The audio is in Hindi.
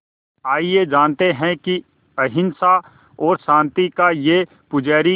आइए जानते हैं कि अहिंसा और शांति का ये पुजारी